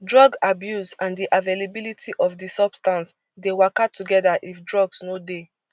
drug abuse and di availability of di substance dey waka togeda if drugs no dey